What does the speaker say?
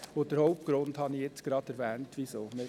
Den Hauptgrund dafür habe ich gerade erwähnt.